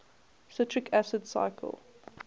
citric acid cycle